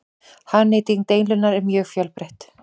Hagnýting deildunar er mjög fjölbreytt.